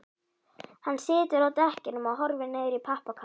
Hann situr á dekkjunum og horfir niður í pappakassann.